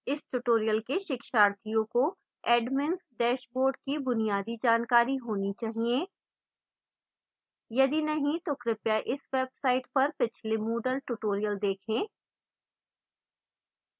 इस tutorial के शिक्षार्थियों को admins dashboard की बुनियादी जानकारी होनी चाहिए